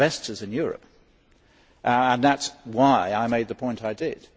We need investors in Europe. That is why I made the point I did.